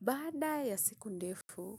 Baada ya siku ndefu,